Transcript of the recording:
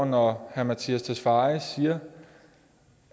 når herre mattias tesfaye siger